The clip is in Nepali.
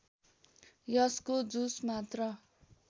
यसको जुस मात्र